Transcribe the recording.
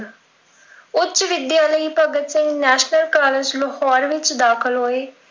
ਉੱਚ ਵਿੱਦਿਆ ਲਈ ਭਗਤ ਸਿੰਘ National College ਲਾਹੌਰ ਵਿੱਚ ਦਾਖਿਲ ਹੋਏ।